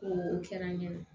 O kɛra n ɲana